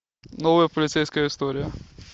новая полицейская история